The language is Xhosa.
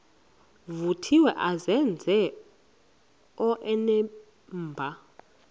vuthiwe azenze onenimba